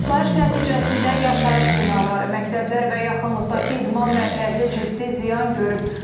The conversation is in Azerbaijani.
Partlayış nəticəsində yaşayış binaları, məktəblər və yaxınlıqdakı idman mərkəzi ciddi ziyan görüb.